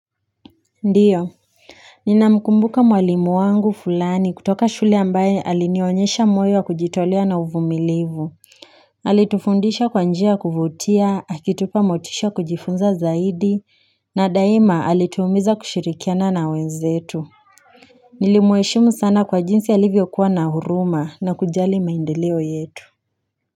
Ndiyo Nina mkumbuka mwalimu wangu fulani kutoka shule ambaye alinionyesha moyo kujitolea na uvumilivu Alitufundisha kwanjia kuvutia akitupa motisha kujifunza zaidi na daima alituumiza kushirikiana na wenzetu Nilimueshimu sana kwa jinsi alivyo kuwa na huruma na kujali maindeleo yetu.